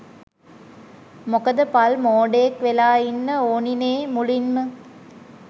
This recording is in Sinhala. මොකද පල් මෝඩයෙක් වෙලා ඉන්න ඕනිනේ මුලින්ම.